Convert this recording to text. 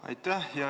Aitäh!